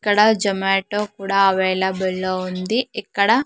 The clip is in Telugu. ఇక్కడ జమాటో కూడా అవైలబుల్ లో ఉంది ఇక్కడ.